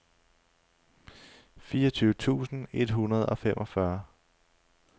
fireogtyve tusind et hundrede og femogfyrre